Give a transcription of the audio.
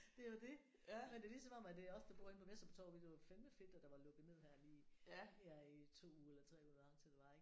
Det er jo det men det er ligesom om at det er os der bor inde på Vesterbro Torv det fandeme fedt at der var lukket ned her lige her i 2 uger 3 uger hvor lang tid det var ik